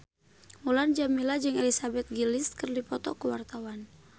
Mulan Jameela jeung Elizabeth Gillies keur dipoto ku wartawan